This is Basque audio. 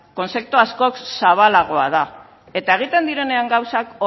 kontzeptu askoz zabalagoa da eta egiten direnean gauzak